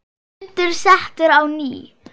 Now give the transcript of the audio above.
Fundur settur á ný.